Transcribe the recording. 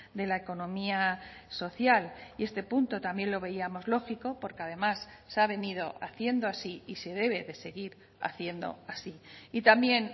de la economía social y este punto también lo veíamos lógico porque además se ha venido haciendo así y se debe de seguir haciendo así y también